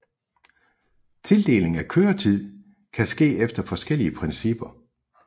Tildeling af køretid kan ske efter forskellige principper